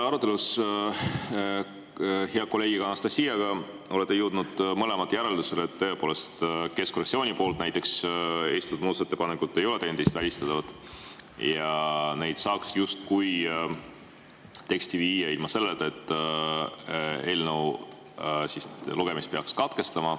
Arutelus hea kolleegi Anastassiaga te olete jõudnud mõlemad järeldusele, et tõepoolest keskfraktsiooni poolt esitatud muudatusettepanekud ei ole teineteist välistavad ja neid saaks justkui teksti viia ilma selleta, et eelnõu lugemise peaks katkestama.